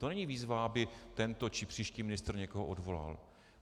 To není výzva, aby tento či příští ministr někoho odvolal.